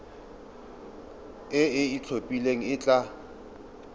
e e itlhophileng e tla